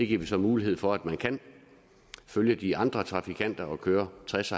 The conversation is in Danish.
giver vi så mulighed for at man kan følge de andre trafikanter og køre tres